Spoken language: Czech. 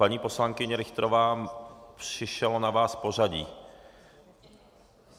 Paní poslankyně Richterová, přišlo na vás pořadí.